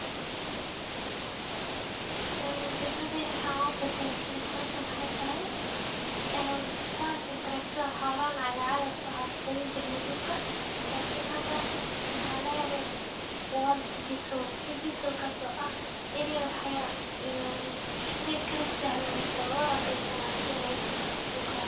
Degmadena waxa ubadashe hawshan wxey tahay bahashan cagaf cagafta ah waxa kuqodani jirne dulka lakin hda mxa lahele digital kaso ah inii si kasahlan an kuhagajisani karto dhulkaga.